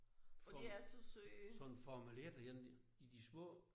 For sådan en formel et en de de små